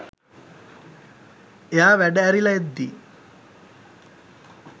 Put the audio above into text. එයා වැඩ ඇරිල එද්දි